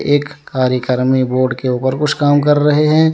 एक कार्यक्रम में बोर्ड के ऊपर कुछ काम कर रहे हैं।